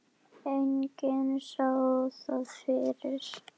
Enginn sá það fyrir.